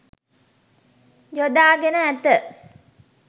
යොදාගෙන ඇත.